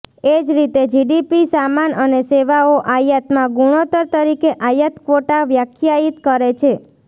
એ જ રીતે જીડીપી સામાન અને સેવાઓ આયાતમાં ગુણોત્તર તરીકે આયાત ક્વોટા વ્યાખ્યાયિત કરે છે